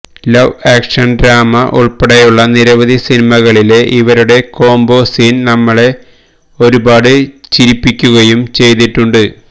love action drama ഉൾപ്പെടെയുള്ള നിരവധി സിനിമകളിലെ ഇവരുടെ കോംബോ സീൻ നമ്മളെ ഒരുപാട് ചിരിപ്പിക്കുകയും ചെയ്തിട്ടുണ്ട്